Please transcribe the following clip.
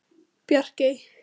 Bjarkey